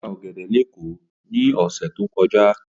Ó ta ọ̀gẹ̀dẹ̀ ní Èkó ní ọ̀sẹ̀ tó kọjá.